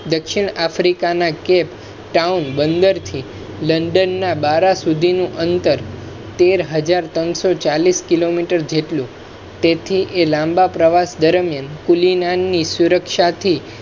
દક્ષિણ africa ના Cape Town બંદર થી લંદન ના બારા સુધી નું અંતર તેર હજાર ત્રણસો ચાલીસ કિલોમીટર જેટ લું તેથી એ લાંબા પ્રવાસ દરમિયાન કુલી ના ની સુરક્ષાથી